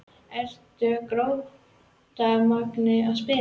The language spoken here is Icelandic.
Eru ekki Grótta og Magni að spila?